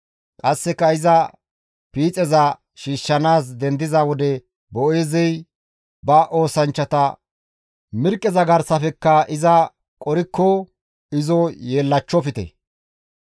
Qasseka iza piixeza shiishshanaas dendiza wode Boo7eezey ba oosanchchata, «Mirqqeza garsafekka iza qorikko izo yeellachchofte.